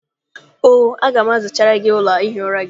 Oo, aga m azachara gị ụlọ ihi ụra gị.